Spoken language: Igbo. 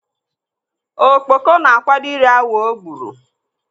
Okpoko na-akwado ị ri awọ o gburu.